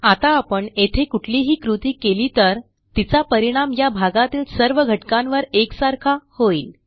आता आपण येथे कुठलीही कृती केली तर तिचा परिणाम या भागातील सर्व घटकांवर एकसारखा होईल